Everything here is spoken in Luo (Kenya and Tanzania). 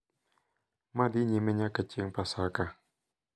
Ma dhi nyime nyaka chieng' Paska,